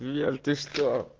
лер ты что